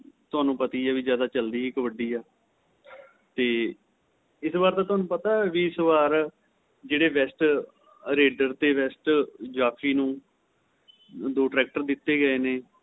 ਤੁਹਾਨੂੰ ਪਤਾ ਹੀ ਏ ਜਿਆਦਾ ਚੱਲਦੀ ਹੀ ਕਬੱਡੀ ਏ ਤੇ ਇਸ ਵਾਰ ਤੁਹਾਨੂੰ ਪਤਾ ਏਸ ਵਾਰ ਜਿਹੜੇ best raider ਤੇ best ਜਾਫ਼ੀ ਨੂੰ ਦੋ tracker ਦਿੱਤੇ ਗਏ ਨੇ